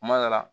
Kuma dɔ la